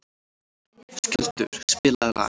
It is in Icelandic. Skjöldur, spilaðu lag.